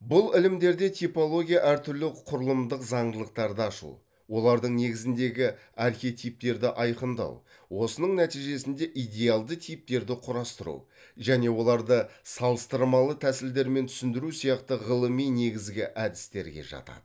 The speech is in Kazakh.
бұл ілімдерде типология әр түрлі құрылымдық заңдылықтарды ашу олардың негізіндегі архетиптерді айқындау осының нәтижесінде идеалды типтерді құрастыру және оларды салыстырмалы тәсілдермен түсіндіру сияқты ғылыми негізгі әдістерге жатады